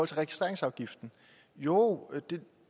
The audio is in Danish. registreringsafgiften jo